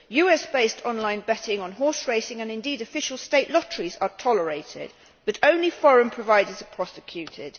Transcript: US based online betting on horse racing, and indeed official state lotteries, are tolerated, but only foreign providers are prosecuted.